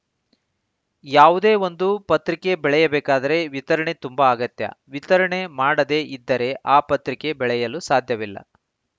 ಯಾವುದೇ ಒಂದು ಪತ್ರಿಕೆ ಬೆಳೆಯ ಬೇಕಾದರೆ ವಿತರಣೆ ತುಂಬಾ ಅಗತ್ಯ ವಿತರಣೆ ಮಾಡದೆ ಇದ್ದರೆ ಆ ಪತ್ರಿಕೆ ಬೆಳೆಯಲು ಸಾಧ್ಯವಿಲ್ಲ